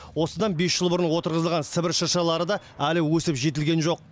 осыдан бес жыл бұрын отырғызылған сібір шыршалары да әлі өсіп жетілген жоқ